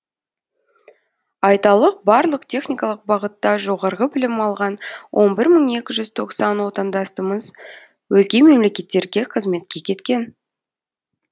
айталық барлық техникалық бағытта жоғарғы білім алған он бір мың екі жүз тоқсан отандасымыз өзге мемлекеттерге қызметке кеткен